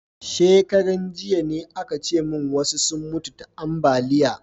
Shekaran jiya ne a ka ce mun wasu sun mutu ta ambaliya